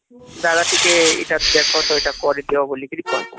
ଦାଦା ଟିକେ ଏଟା ଦେଖ ତ ଏଟା ଟିକେ କରିଦିଅ ବୋଲି କିରି କହିବ